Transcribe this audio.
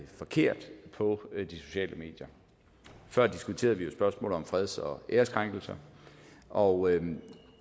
forkert på de sociale medier før diskuterede vi spørgsmålet om freds og æreskrænkelser og